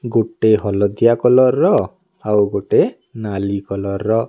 ଗୋଟେ ହଳଦିଆ କଲର୍ ଆଉ ଗୋଟେ ନାଲି କଲର୍ ର।